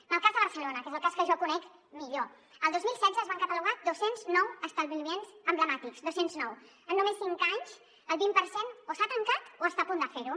en el cas de barcelona que és el cas que jo conec millor el dos mil setze es van catalogar dos cents i nou establiments emblemàtics dos cents i nou en només cinc anys el vint per cent o s’ha tancat o està a punt de fer ho